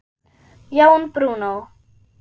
Jón Bruno.